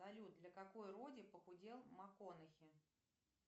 салют для какой роли похудел макконахи